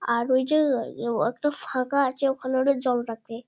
আর ওই যে ও একটা ফাঁকা আছে ওখানে ওরা জল রাখে।